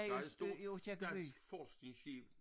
Der et stort dansk forskningsskib